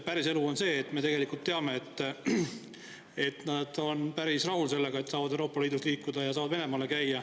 Päriselu on nii, me tegelikult teame, et nad on päris rahul sellega, et nad saavad liikuda Euroopa Liidus ja ka Venemaal käia.